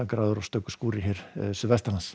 gráðurnar smá skúrir suðvestanlands